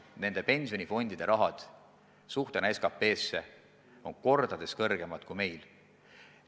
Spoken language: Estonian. Nende pensionifondide summad moodustavad võrreldes SKT-ga kordades rohkem kui meil.